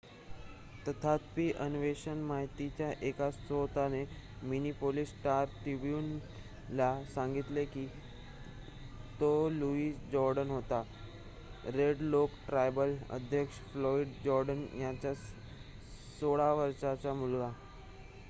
तथापि अन्वेषण माहितीच्या एका स्त्रोताने मिनिपोलीस स्टार ट्रिब्युन ला सांगितलेकी तो लुईस जोर्डन होता रेड लेक ट्रायबल अध्यक्ष फ्लोईड जोर्डन यांचा 16 वर्षाचा मुलगा